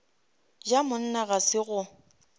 ja monna ga se go